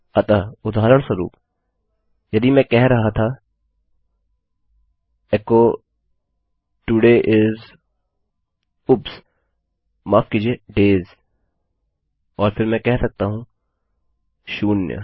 अतः उदाहरणस्वरूप यदि मैं कह रहा था एचो तोड़े इस ऊप्स माफ किजिए डेज और फिर मैं कह सकता हूँ शून्य